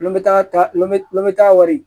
N bɛ taa lɔn n bɛ taa wari